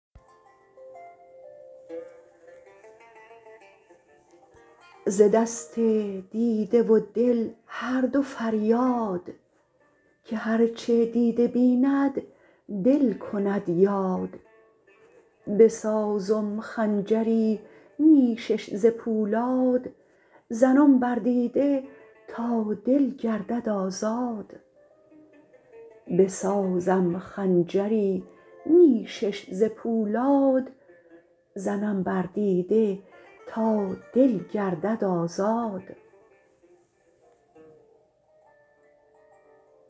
ز دست دیده و دل هر دو فریاد که هر چه دیده بیند دل کند یاد بسازم خنجری نیشش ز پولاد زنم بر دیده تا دل گردد آزاد